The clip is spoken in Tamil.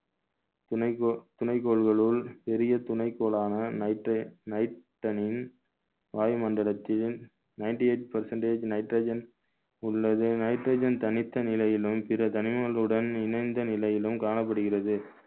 துணைக்கோ~ துணைக்கோள்களுள் பெரிய துணைக்கோளான nitr~ வாயு மண்டலத்தின் ninety eight percentage nitrogen உள்ளது nitrogen தனித்த நிலையிலும் பிற தனிமங்களுடன் இணைந்த நிலையிலும் காணப்படுகிறது